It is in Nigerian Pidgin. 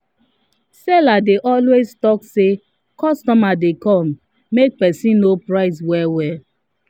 seller dey always talk say “customer dey come” make person no price well well.